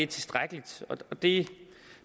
tilstrækkelig det